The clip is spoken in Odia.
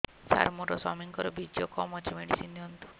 ସାର ମୋର ସ୍ୱାମୀଙ୍କର ବୀର୍ଯ୍ୟ କମ ଅଛି ମେଡିସିନ ଦିଅନ୍ତୁ